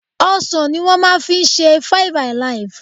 Ọsàn ní wọ́n máa fi ṣe five-alive.